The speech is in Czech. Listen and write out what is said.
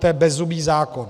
To je bezzubý zákon.